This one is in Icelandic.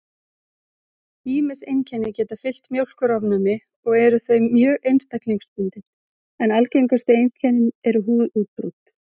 Ýmis einkenni geta fylgt mjólkurofnæmi og eru þau mjög einstaklingsbundin, en algengustu einkennin eru húðútbrot.